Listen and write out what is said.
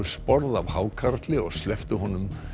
sporð af hákarli og slepptu honum